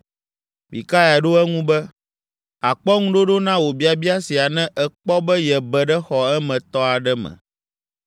Mikaya ɖo eŋu be, “Àkpɔ ŋuɖoɖo na wò biabia sia ne èkpɔ be yebe ɖe xɔ emetɔ aɖe me.”